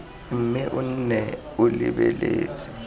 mme o nne o lebeletse